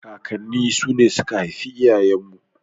Kakanni su ne suka haifi iyayen mu.